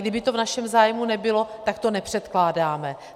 Kdyby to v našem zájmu nebylo, tak to nepředkládáme.